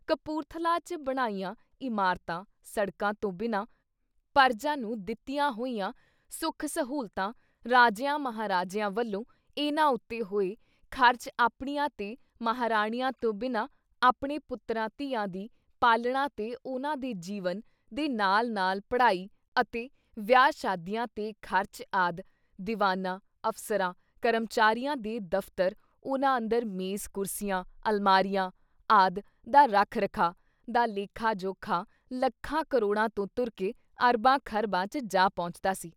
ਕਪੂੂਰਥਲੇ ‘ਚ ਬਣਾਈਆਂ ਇਮਾਰਤਾਂ, ਸੜਕਾਂ, ਤੋਂ ਬਿਨਾਂ, ਪਰਜਾ ਨੂੰ ਦਿੱਤੀਆਂ ਹੋਈਆਂ ਸੁਖ-ਸਹੂਲਤਾਂ ਰਾਜਿਆਂ-ਮਹਾਰਾਜਿਆਂ ਵੱਲੋਂ ਇਨ੍ਹਾਂ ਉੱਤੇ ਹੋਏ ਖਰਚ ਆਪਣੀਆਂ ਤੇ ਮਹਾਰਾਣੀਆਂ ਤੋਂਂ ਬਿਨਾਂ ਆਪਣੇ ਪੁੱਤਰਾਂ ਧੀਆਂ ਦੀ ਪਾਲਣਾ ਤੇ ਉਨ੍ਹਾਂ ਦੇ ਜੀਵਨ ਦੇ ਨਾਲ ਨਾਲ ਪੜ੍ਹਾਈ ਅਤੇ ਵਿਆਹ-ਸ਼ਾਦੀਆਂ ‘ਤੇ ਖਰਚ ਆਦਿ ਦੀਵਾਨਾ, ਅਫਸਰਾਂ, ਕਰਮਚਾਰੀਆਂ, ਦੇ ਦਫ਼ਤਰ ਉਨ੍ਹਾਂ ਅੰਦਰ ਮੇਜ਼ ਕੁਰਸੀਆਂ, ਅਲਮਾਰੀਆਂ ਆਦਿ ਦਾ ਰੱਖ ਰਖਾਅ, ਦਾ ਲੇਖਾ-ਜੋਖਾ ਲੱਖਾਂ ਕਰੋੜਾਂ ਤੋਂ ਤੁਰਕੇ ਅਰਬਾਂ ਖ਼ਰਬਾਂ ‘ਚ ਜਾ ਪਹੁੰਚਦਾ ਸੀ।